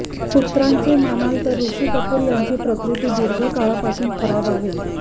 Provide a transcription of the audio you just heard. सूत्रांचे मानाल तर ऋषी कपूर यांची प्रकृती दीर्घकाळापासून खराब आहे